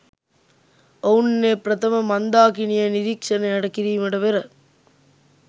ඔවුන් ඒ ප්‍රථම මන්දාකිණිය නිරීක්‍ෂණයට කිරීමට පෙර